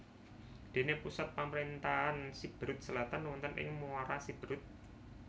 Dene pusat pamarentahan Siberut Selatan wonten ing Muara Siberut